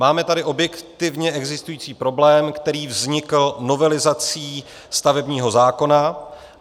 Máme tady objektivně existující problém, který vznikl novelizací stavebního zákona.